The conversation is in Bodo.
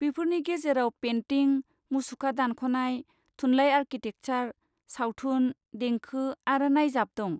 बेफोरनि गेजेराव पेन्टिं, मुसुखा दानख'नाय, थुनलाइ, आरकिटेकसार, सावथुन, देंखो आरो नायजाब दं।